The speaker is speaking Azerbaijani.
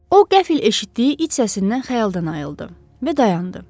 O qəfil eşitdiyi it səsindən xəyaldan ayıldı və dayandı.